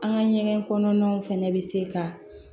An ka ɲɛgɛn kɔnɔnaw fɛnɛ bɛ se ka